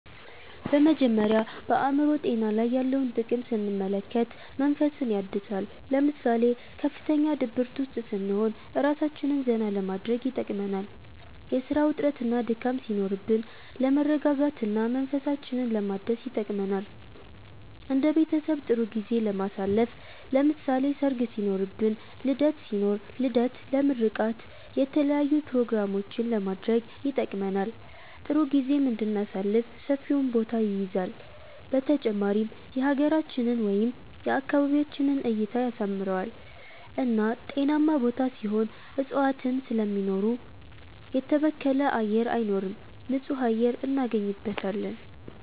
በመጀመሪያ በአእምሮ ጤና ላይ ያለውን ጥቅም ስንመለከት መንፈስን ያድሳል ለምሳሌ ከፍተኛ ድብርት ውስጥ ስንሆን እራሳችንን ዘና ለማድረግ ይጠቅመናል የስራ ውጥረትና ድካም ሲኖርብን ለመረጋጋት እና መንፈሳችንን ለማደስ ይጠቅመናል እንደ ቤተሰብ ጥሩ ጊዜ ለማሳለፍ ለምሳሌ ሰርግ ሲኖርብን ልደት ሲኖር ልደት ለምርቃት የተለያዪ ኘሮግራሞችንም ለማድረግ ይጠቅመናል ጥሩ ጊዜም እንድናሳልፍ ሰፊውን ቦታ ይይዛል በተጨማሪም የሀገራችንን ወይም የአካባቢያችንን እይታን ያሳምረዋል እና ጤናማ ቦታ ሲሆን እፅዋትን ስለሚኖሩ የተበከለ አየር አይኖርም ንፁህ አየር እናገኝበታለን